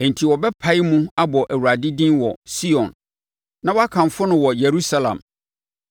Enti, wɔbɛpae mu abɔ Awurade din wɔ Sion na wɔakamfo no wɔ Yerusalem,